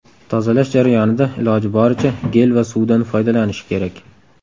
Tozalash jarayonida iloji boricha, gel va suvdan foydalanish kerak.